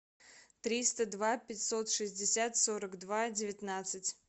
триста два пятьсот шестьдесят сорок два девятнадцать